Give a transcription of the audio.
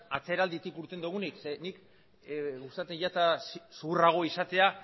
atzeralditik irten dugunik zeren eta niri gustatzen zait zuhurrago izatea